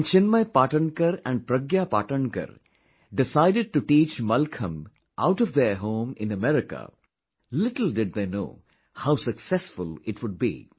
When Chinmay Patankar and Pragya Patankar decided to teach Mallakhambh out of their home in America, little did they know how successful it would be